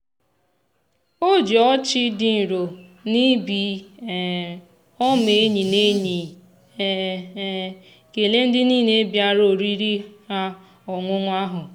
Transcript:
o ji ọchị dị nro na ibi um ọma enyi na enyi um um kelee ndị niile bịara oriri ha ọṅụṅụ ahụ.